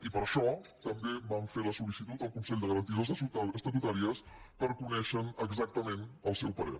i per això també vam fer la sol·licitud al consell de garanties estatutàries per conèixer ne exactament el seu parer